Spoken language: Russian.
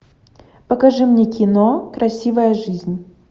покажи мне кино красивая жизнь